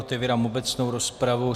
Otevírám obecnou rozpravu.